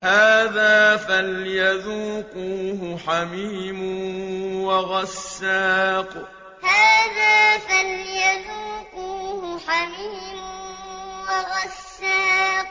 هَٰذَا فَلْيَذُوقُوهُ حَمِيمٌ وَغَسَّاقٌ هَٰذَا فَلْيَذُوقُوهُ حَمِيمٌ وَغَسَّاقٌ